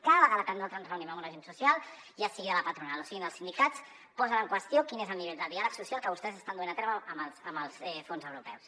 cada vegada que nosaltres ens reunim amb un agent social ja siguin de la patronal o siguin dels sindicats posen en qüestió quin és el nivell de diàleg social que vostès estan duent a terme amb els fons europeus